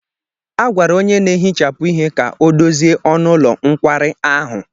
A gwara onye na-ehicha ihe ka ọ dozie ọnụ ụlọ nkwari ahụ.